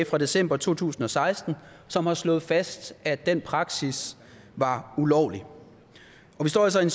fra december to tusind og seksten som har slået fast at den praksis var ulovlig vi står altså i